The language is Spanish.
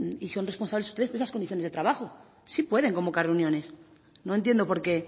y son responsables ustedes de esas condiciones de trabajo sí pueden convocar reuniones no entiendo porque